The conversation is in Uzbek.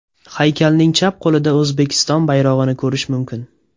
Haykalning chap qo‘lida O‘zbekiston bayrog‘ini ko‘rish mumkin.